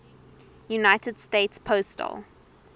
united states postal